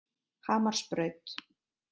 Hamarsbraut